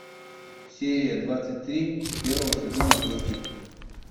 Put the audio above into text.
серия двадцать три первого сезона кости